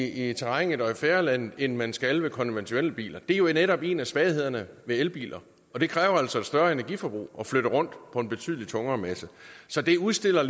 i terrænet og i fædrelandet end man skal med konventionelle biler og det er jo netop en af svaghederne ved elbiler det kræver altså større energiforbrug at flytte rundt på en betydelig tungere masse så det udstiller